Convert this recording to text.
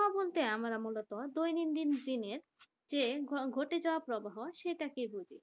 কথা বলতে আমরা মূলত দৈনন্দিন দিনের যে ঘটে যাওয়া আবহাওয়া সেটাকে বলছি।